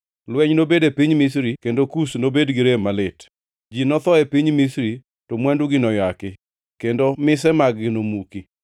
Lweny nobed e piny Misri kendo Kush nobed gi rem malit. Ji notho e piny Misri, to mwandugi noyaki, kendo mise mag-gi nomuki.